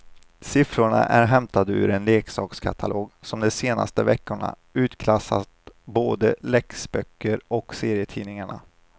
Siffrorna är hämtade ur en leksakskatalog som de senaste veckorna utklassat både läxböcker och serietidningar.